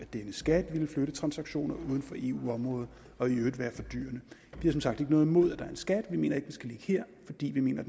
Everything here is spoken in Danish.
denne skat vil flytte transaktioner uden for eu området og i øvrigt være fordyrende vi har som sagt ikke noget imod at der er en skat vi mener ikke skal ligge her fordi vi mener